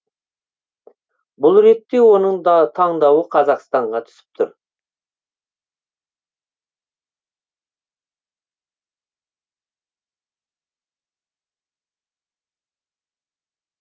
бұл ретте оның таңдауы қазақстанға түсіп тұр